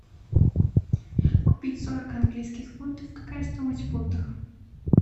купить сорок английских фунтов какая стоимость в фунтах